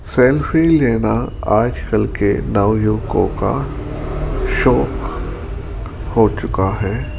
Selfie लेना आजकल के नव युवकों का शौक हो चुका है।